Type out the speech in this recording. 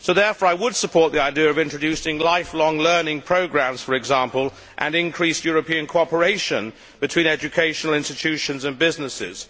I would therefore support the idea of introducing life long learning programmes, for example, and increased European cooperation between educational institutions and businesses.